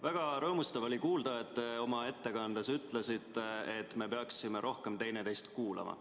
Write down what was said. Väga rõõmustav oli kuulda, kui te oma ettekandes ütlesite, et me peaksime rohkem teineteist kuulama.